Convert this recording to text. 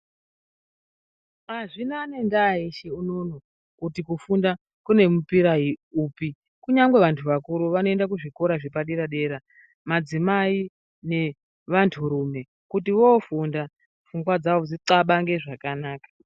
Hanzina nenda yese unono kuti kufunda kune mupira upi kunyangwe vantu vakuru vanoenda kuzvikora zvepadera dera madzimai nevantu rume kuti wofunda pfungwa dzawo dzixabane zvakanaka.